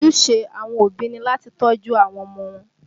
Ojúṣe àwọn òbí ni láti tọ́jú àwọn ọmọ wọn